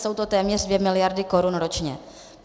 Jsou to téměř 2 miliardy korun ročně.